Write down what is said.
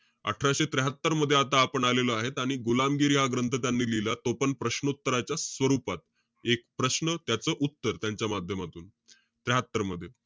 अठराशे त्र्याहात्तर मध्ये, आता आपण आलेलो आहेत. आणि गुलामगिरी हा ग्रंथ त्यांनी लिहिला. तो पण प्रश्नोत्तराच्या स्वरूपात. एक प्रश्न, त्याच उत्तर, त्यांच्या माध्यमातून, त्र्याहात्तर मध्ये.